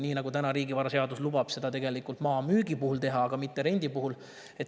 Täna lubab riigivaraseadus seda teha maa müügi puhul, aga mitte rendi puhul.